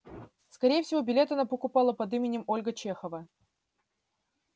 скорее всего билет она покупала под именем ольга чехова